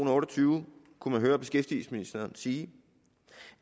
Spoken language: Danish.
og otte og tyve kunne man høre beskæftigelsesministeren sige